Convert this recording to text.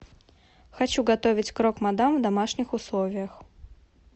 хочу готовить крок мадам в домашних условиях